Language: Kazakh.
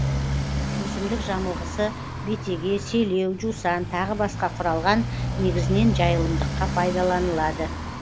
өсімдік жамылғысы бетеге селеу жусан тағы басқа құралған негізінен жайылымдыққа пайдаланылады